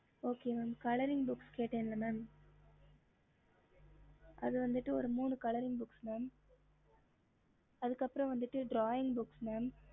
ஹம்